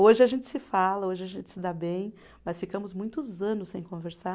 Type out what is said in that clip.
Hoje a gente se fala, hoje a gente se dá bem, mas ficamos muitos anos sem conversar.